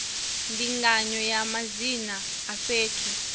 ndinganyo ya madzina a fhethu